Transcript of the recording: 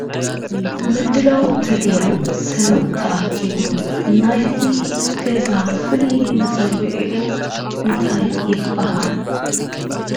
ምድላው ተገይሩ ሰብ ተኣክቡ ናይዚ ገዛ ክፍሊ መፀዉዒዑ እንታይ ይባሃል?